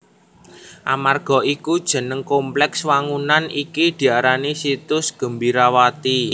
Amarga iku jeneng komplèks wangunan iki diarani Situs Gembirawati